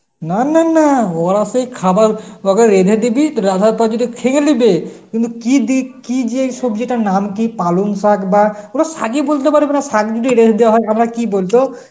না না না ওরা সেই খাবার উহাদের এনে দিবি যদি খেয়ে লিবে কিন্তু কি দি~ কি যে এই সবজিটার নাম কি পালং শাগ বা, ওরা শাগই বলতে পারবে না শাগ যদি রেধে দেওয়া হয়, আবার কি বলতো